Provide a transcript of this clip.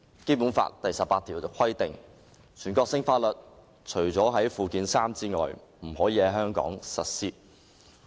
《基本法》第十八條規定，全國性法律除列於附件三者外，不得在香港特別行政區實施。